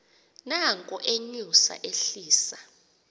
nanko enyusa ehlisa